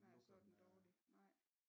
Nej så er den dårlig nej